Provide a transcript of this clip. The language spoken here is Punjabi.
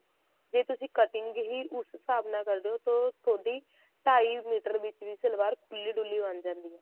ਜੇ ਤੁਸੀਂ cutting ਹੀ ਉਸ ਹਿਸਾਬ ਨਾਲ ਕਰਦੇ ਓ ਤਾਂ ਤੁਹਾਡੀ ਢਾਈ ਮੀਟਰ ਵਿੱਚ ਵੀ ਸਲਵਾਰ ਖੁੱਲੀ ਡੁਲੀ ਬਣ ਜਾਂਦੀ ਆ